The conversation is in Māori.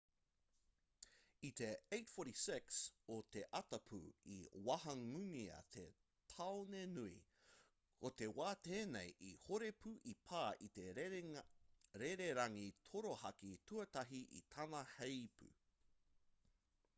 i te 8:46 o te ata pū i wahangūngia te tāone nui ko te wā tēnei i horo pū i pā te rererangi torohaki tuatahi i tana heipū